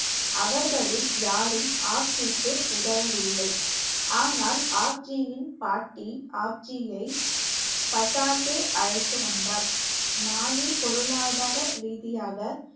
அவர்களில் யாரும் ஆப்ஜிக்கு உதவவில்லை. ஆனால் ஆப்ஜியின் பாட்டி ஆப்ஜியை பஸாதே அழைத்து வந்தார் நானே பொருளாதாரரீதியாக